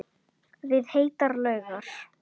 Við heitar laugar